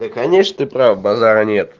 э конечно ты прав базара нет